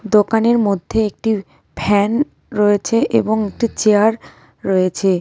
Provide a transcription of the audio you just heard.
দোকানের মধ্যে একটি ফ্যান রয়েছে এবং একটি চেয়ার রয়েছে।